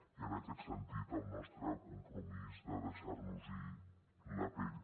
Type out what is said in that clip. i en aquest sentit el nostre compromís de deixar nos hi la pell